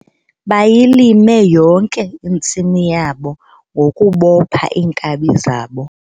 Bayilime yonke intsimi yabo ngokubopha iinkabi zabo.